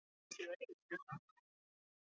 Ætluðum við ekki að gera eitthvað?!